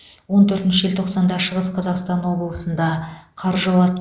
он төртінші желтоқсанда шығыс қазақстан облысында қар жауады